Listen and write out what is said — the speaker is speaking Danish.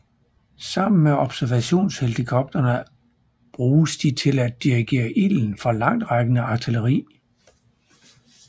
Sammen med observationshelikoptere bruges de til at dirigere ilden fra langtrækkende artilleri